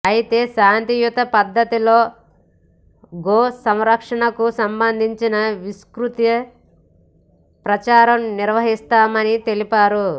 అయితే శాంతియుత పద్దతిలో గో సంరక్షణకు సంబంధించి విస్త్రుత ప్రచారం నిర్వహిస్తామని తెలిపారు